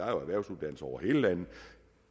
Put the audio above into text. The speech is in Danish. erhvervsuddannelser over hele landet